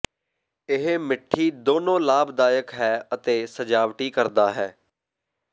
ਇਹ ਮਿੱਠੀ ਦੋਨੋ ਲਾਭਦਾਇਕ ਹੈ ਅਤੇ ਸਜਾਵਟੀ ਕਰਦਾ ਹੈ